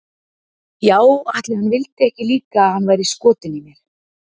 Já ætli hann vildi ekki líka að hann væri skotinn í mér.